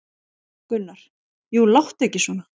Gunnar: Jú, láttu ekki svona.